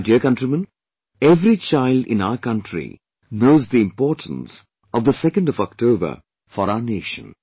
My dear countrymen, every child in our country knows the importance of the 2nd of October for our nation